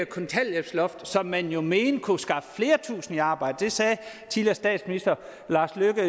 kontanthjælpsloft som man jo mente kunne skaffe flere tusind i arbejde det sagde tidligere statsminister lars løkke